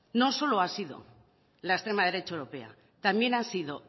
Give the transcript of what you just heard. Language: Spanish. no solo ha sido la extrema derecha europea también ha sido